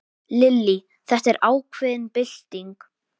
Lillý: Þetta er ákveðin bylting?